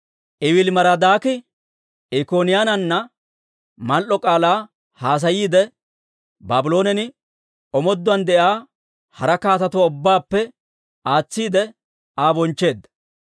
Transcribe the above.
Ewiili-Marodaaki Ikkoniyaanana mal"o k'aalaa haasayiide, Baabloonen omooduwaan de'iyaa hara kaatetuwaa ubbaappe aatsiide, Aa bonchcheedda.